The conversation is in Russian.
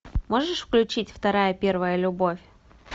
можешь включить вторая первая любовь